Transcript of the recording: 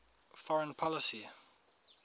foreign policy